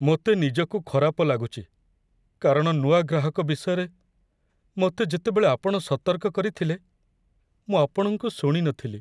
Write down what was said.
ମୋତେ ନିଜକୁ ଖରାପ ଲାଗୁଛି କାରଣ ନୂଆ ଗ୍ରାହକ ବିଷୟରେ ମୋତେ ଯେତେବେଳେ ଆପଣ ସତର୍କ କରିଥିଲେ, ମୁଁ ଆପଣଙ୍କୁ ଶୁଣିନଥିଲି।